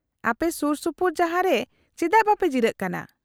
-ᱟᱯᱮ ᱥᱩᱨᱥᱩᱯᱩᱨ ᱡᱟᱦᱟᱸ ᱨᱮ ᱪᱮᱫᱟᱜ ᱵᱟᱝᱯᱮ ᱡᱤᱨᱟᱹᱜ ᱠᱟᱱᱟ ?